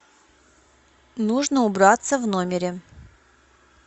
нужно убраться в номере